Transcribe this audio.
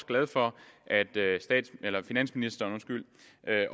glad for at finansministeren